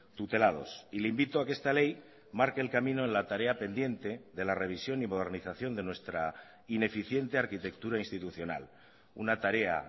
tutelados y le invito a que esta ley marque el camino en la tarea pendiente de la revisión y modernización de nuestra ineficiente arquitectura institucional una tarea